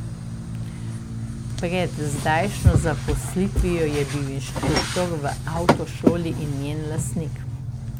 Pred zdajšnjo zaposlitvijo je bil inštruktor v avtošoli in njen lastnik.